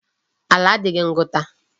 Ala adịghị ngụta.